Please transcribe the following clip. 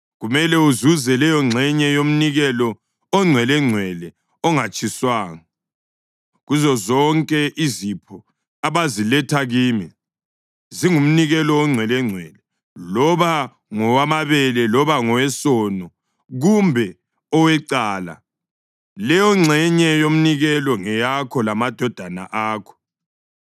Kumele uzuze leyongxenye yomnikelo ongcwelengcwele ongatshiswanga. Kuzozonke izipho abaziletha kimi zingumnikelo ongcwelengcwele, loba ngowamabele loba ngowesono kumbe owecala, leyongxenye yomnikelo ngeyakho lamadodana akho.